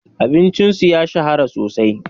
Abincin su ya shahara sosai.